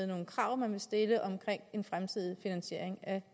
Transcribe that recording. nogle krav man vil stille om en fremtidig finansiering af